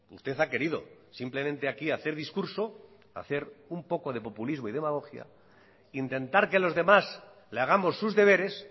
usted ha querido simplemente aquí hacer discurso hacer un poco de populismo y demagogia intentar que los demás le hagamos sus deberes